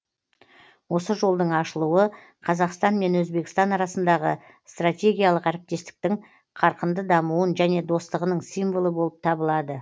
осы жолдың ашылуы қазақстан мен өзбекстан арасындағы стратегиялық әріптестіктің қарқынды дамуын және достығының символы болып табылады